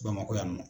Bamakɔ yan nɔ